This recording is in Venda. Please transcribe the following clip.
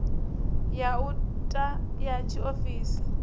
ya u ta ya tshiofisi